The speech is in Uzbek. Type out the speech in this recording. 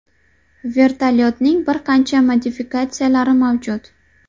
Vertolyotning bir qancha modifikatsiyalari mavjud.